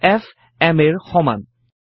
ফ m a ৰ সমান